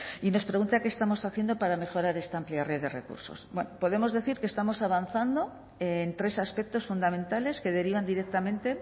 y nos pregunta qué estamos haciendo para mejorar esta amplia red de recursos bueno podemos decir que estamos avanzando en tres aspectos fundamentales que derivan directamente